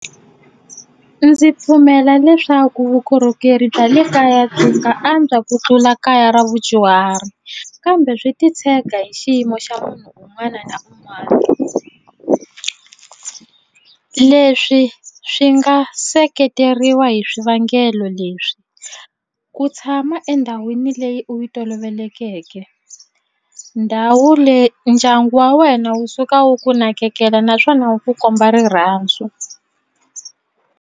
Ndzi pfumela leswaku vukorhokeri bya le kaya byi nga antswa ku tlula kaya ra vudyuhari kambe swi titshega hi xiyimo xa munhu un'wana na un'wana ku leswi swi nga seketeriwa hi swivangelo leswi ku tshama endhawini leyi u yi tolovelekeke ndhawu leyi ndyangu wa wena wu suka wu ku nakekela naswona wu ku komba rirhandzu.